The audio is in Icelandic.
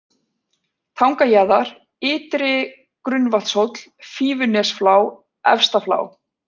Tangajaðar, Ytri-Grunnavatnshóll, Fífunesflá, Efsta-Flá